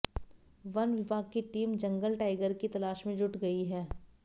one विभाग की team जंगल टाइगर की तलाश मे जुट गई है